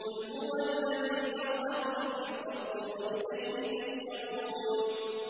قُلْ هُوَ الَّذِي ذَرَأَكُمْ فِي الْأَرْضِ وَإِلَيْهِ تُحْشَرُونَ